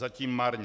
Zatím marně.